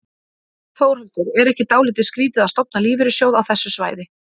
Þórhildur: Er ekki dálítið skrítið að stofna lífeyrissjóð á þessu svæði?